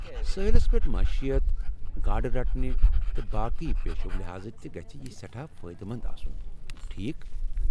سٲحلس پیٹھ معیشت ، گاڑٕ رٹنہٕ تہٕ باقی پیشو لحاظہ تہِ گژھہِ یہِ سیٹھاہ فٲیدٕ مند آسُن ۔ٹھیكھ ؟